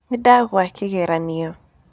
Nĩndagũa kĩgeranio.